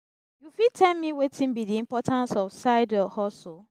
you fit tell me wetin be di importance of side-hustle?